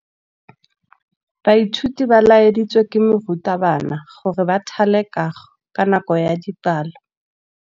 Baithuti ba laeditswe ke morutabana gore ba thale kagô ka nako ya dipalô.